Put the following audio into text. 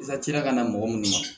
I ka ci la ka na mɔgɔ minnu ma